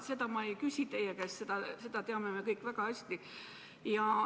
Seda ma ei küsi teie käest, seda teame me kõik väga hästi.